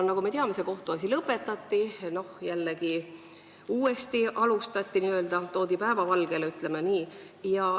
Nagu me teame, see kohtuasi lõpetati, siis jällegi alustati uuesti, toodi päevavalgele, ütleme nii.